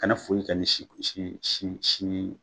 Kana foyinkɛ ni si si sinin ye.